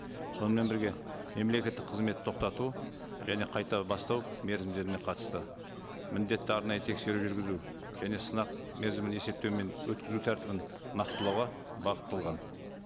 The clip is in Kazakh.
сонымен бірге мемлекеттік қызмет тоқтату және қайта бастау мерзімдеріне қатысты міндетті арнайы тексеру жүргізу және сынақ мерзімін есептеу мен өткізу тәртібін нақтылауға бағытталған